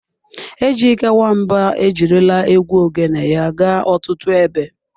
Ejyke Nwamba ejirila egwu Ogene ya gaa ọtụtụ ebe.